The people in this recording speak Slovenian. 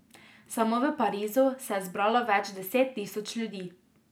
Samo v Parizu se je zbralo več deset tisoč ljudi.